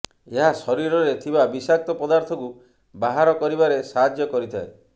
ଏହା ଶରୀରରେ ଥିବା ବିଷାକ୍ତ ପଦାର୍ଥକୁ ବାହାର କରିବାରେ ସାହାଯ୍ୟ କରିଥାଏ